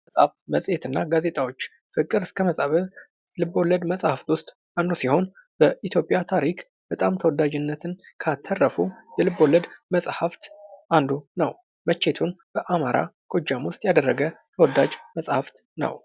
መፅሀፍ፣ መፅሔት እና ጋዜጣዎች:- ፍቅር እስከ መቃብር ልብ ወለድ መፅሀፍት ዉስጥ አንዱ ሲሆን በኢትዮጵያ ታሪክ በጣም ተወዳጅነትን ካተረፉ የልብ ወለድ መፅሀፍት አንዱ ነዉ። መቼቱን በአማራ ጎጃም ዉስጥ ያደረገ ተወዳጅ መፅሀፍት ነዉ።